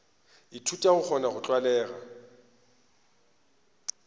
ithuta go kgona go tlwalega